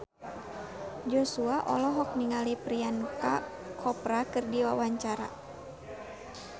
Joshua olohok ningali Priyanka Chopra keur diwawancara